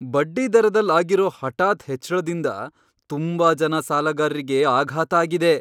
ಬಡ್ಡಿದರದಲ್ ಆಗಿರೋ ಹಠಾತ್ ಹೆಚ್ಳದಿಂದ ತುಂಬಾ ಜನ ಸಾಲಗಾರ್ರಿಗೆ ಆಘಾತ ಆಗಿದೆ.